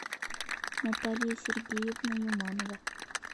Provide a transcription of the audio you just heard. наталья сергеевна юманова